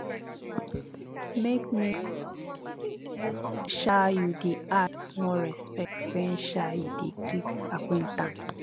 make make um you dey add small respect wen um you dey greet acquaintance